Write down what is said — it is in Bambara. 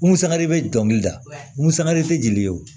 Musaka de bɛ dɔnkili da musaka de tɛ jeli ye o